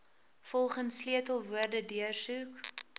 volgens sleutelwoorde deursoek